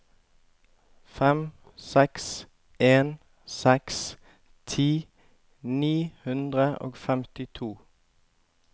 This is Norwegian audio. fem seks en seks ti ni hundre og femtito